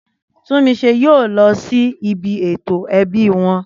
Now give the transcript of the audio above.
Túnmise yóò lọ sí ibi ètò ẹbí wọn.